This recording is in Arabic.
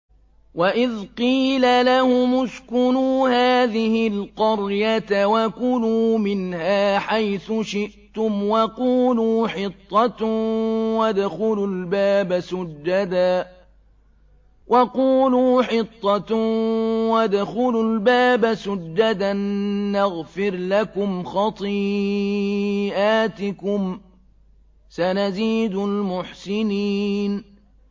وَإِذْ قِيلَ لَهُمُ اسْكُنُوا هَٰذِهِ الْقَرْيَةَ وَكُلُوا مِنْهَا حَيْثُ شِئْتُمْ وَقُولُوا حِطَّةٌ وَادْخُلُوا الْبَابَ سُجَّدًا نَّغْفِرْ لَكُمْ خَطِيئَاتِكُمْ ۚ سَنَزِيدُ الْمُحْسِنِينَ